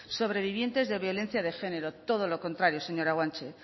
sobrevivientes de violencia de género todo lo contrario señora guanche